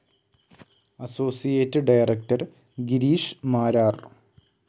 Associate director Girish Marar.